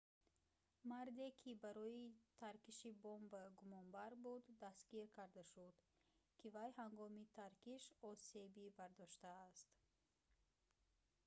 марде ки барои таркиши бомба гумонбар буд дастгир карда шуд ки вай ҳангоми таркиш осеби бардоштааст